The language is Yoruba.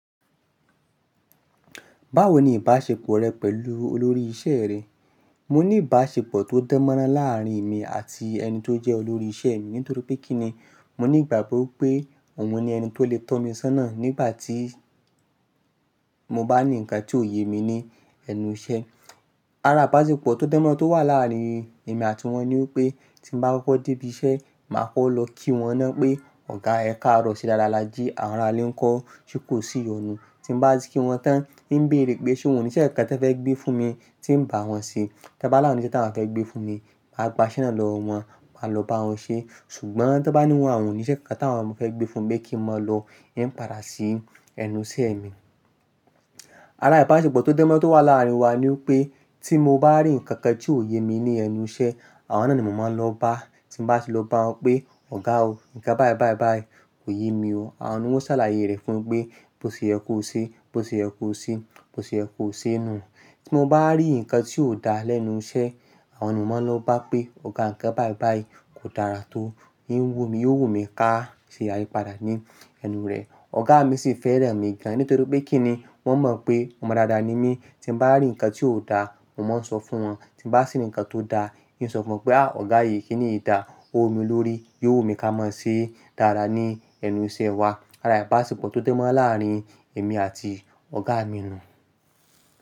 Báwo ni ìbáṣepọ̀ rẹ pẹ̀lú olórí iṣẹ́ rẹ? Mo ní ìbáṣepọ̀ tó dán mọ́rán láàárín emi àti ẹni tó jẹ́ olórí iṣẹ́ mi. Nítorí pé kí ni? Mo ní ìgbàgbọ́ pé òun ni ẹni tó lè tọ́ mi sọ́nà nígbà tí mo bá ní ǹkan tí ò ye mi ní ẹnu iṣẹ́. Ara ìbáṣepọ̀ tó dán mọ́rán tó wà láàárín èmi àti wọ́n ni pé tí mo bá kọ́kọ́ dé ibi iṣẹ́, màá kọ́kọ́ lọ kí wọn náà pé, "Ọ̀gá ẹ ká rọ̀ sí dáadáa lájí, àwọn arálé ń kọ ṣe ko sí ìyọnu." Tí mo bá ti kí wọn tán, íń bèrè pé ṣe wọ́n níṣẹ́ ǹkan tí wọ́n fẹ́ gbé fún mi tí ń bá wọn ṣe. Tẹ́ bá láàrin wọ́n níṣẹ́ tí wọ́n fẹ́ gbé fún mi, màá gba iṣẹ́ náà lọ̀ wọ́n, màá lọ bá wọn ṣe. Ṣùgbọ́n tan bá ní wọn àwon níṣẹ́ kankan tí àwọn ò fẹ́ gbé fún mi pe kí n má lọ, ì ń padà sí ẹnu iṣẹ́ mi. Ara ìbáṣepọ̀ tó dán mọ́rán tó wà láàárín wa ni pé tí mo bá rí ǹkan kan tí ò ye mi ní ẹnu iṣẹ́, àwọn náà ni mò máa ń lọ bá. Tí mo bá ti lọ bá wọn pé, "Ọ̀gá o, ǹkan báì báì báì kò ye mi o." Àwọn náà ni wọ́n o ṣàlàyé rẹ̀ fún un mi pé, "Bó ṣe yẹ kó ṣe, bó ṣe yẹ kó ṣe, bó ṣe yẹ kó ṣe" nù. Tí mo bá rí ǹkan tí ò dáa lẹ́nu iṣẹ́, àwọn náà ni mo máa ń lọ bá pé, "Ọ̀gá ǹkan báì báì kò dára tó." Ní ń wò mi, yóò wò mí ká ṣe yípadà ní ẹnu rẹ̀. Ọ̀gá mi sì fẹ́ràn mi gan. Nítorí pé kí ni? Wọ́n mọ̀ pé ọmọ dáadáa ni mí. Tí mo bá rí ǹkan tí ò dáa, mo máa ń sọ fún wọn. Tí mo bá rí ǹkan tó dáa, ì ń sọ fún wọn pé, "À ọ̀gá yìí kí ni ìdá. Ó wù mí lórí, yóò wù mí ká máa ṣe dára ní ẹnu iṣẹ́ wa." Ara ìbáṣepọ̀ tó dán mọ́rán láàárín èmi àti ọ̀gá mi nù.